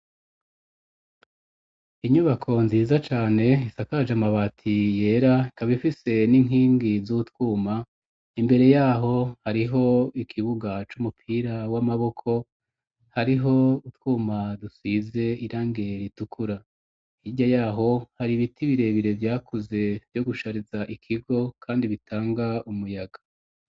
Inyubako nziza cane isakaje amabati yera kabifise n'inkingi z'utwuma imbere yaho hariho ikibuga c'umupira w'amaboko hariho utwuma dusize irangeritukura irya yaho hari ibiti birebire vyakuze vyo gushariza ikigo, kandi bitanga umuyaga.